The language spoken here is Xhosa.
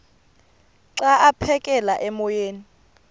xa aphekela emoyeni